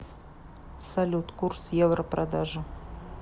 салют курс евро продажа